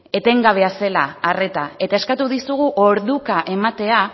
etengabea zela arreta eta eskatu dizugu orduka ematea